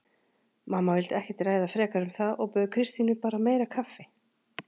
Mamma vildi ekkert ræða frekar um það og bauð Kristínu bara meira kaffi.